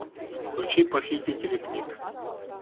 включи похитители книг